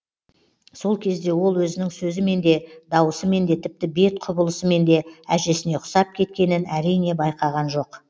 сол кезде ол өзінің сөзімен де даусымен де тіпті бет құбылысымен де әжесіне ұқсап кеткенін әрине байқаған жоқ